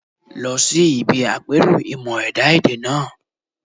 Lọ sí ibi àpérò ìmọ̀-ẹ̀dá èdè náà